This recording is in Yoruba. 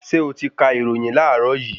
Ṣé oti kà ìròyìn láàrọ yìí?